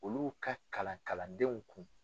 Olu ka kalan kalandenw kun.